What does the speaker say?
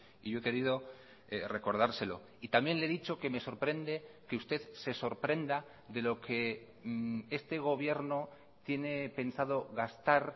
y yo he querido recordárselo y también le he dicho que me sorprende que usted se sorprenda de lo que este gobierno tiene pensado gastar